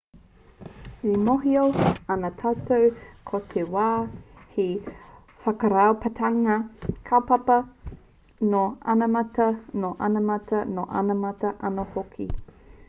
e mōhio ana tātou ko te wā he whakaraupapatanga kaupapa nō anamata nō inamata nō ōnamata anō hoki